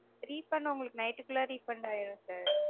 Refund உங்களுக்கு night -டுக்குள்ள refund ஆயிரும் sir